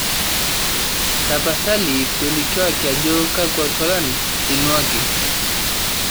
tapasali tolikioki ajo kakua tualan einuaki